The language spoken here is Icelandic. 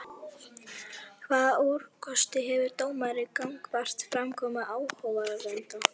Hvaða úrkosti hefur dómari gagnvart framkomu áhorfenda?